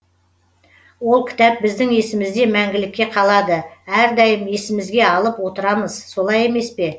ол кітап біздің есімізде мәңгілікке қалады әрдайым есімізге алып отырамыз солай емес пе